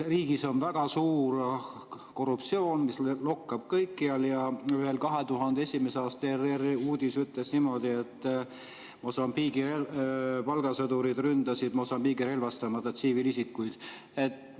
Riigis on väga suur korruptsioon, mis lokkab kõikjal, ja 2001. aasta ERR‑i uudis ütles niimoodi, et Mosambiigi palgasõdurid ründasid Mosambiigi relvastamata tsiviilisikuid.